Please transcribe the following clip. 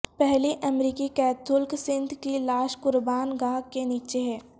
پہلی امریکی کیتھولک سنت کی لاش قربان گاہ کے نیچے ہے